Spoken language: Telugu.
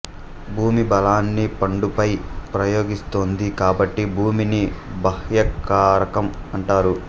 భూమి బలాన్ని పండుపై ప్రయోగిస్తోంది కాబట్టి భూమిని బాహ్యకారకం అంటారు